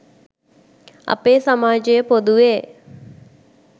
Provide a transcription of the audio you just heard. අපේ සමාජය පොදුවේ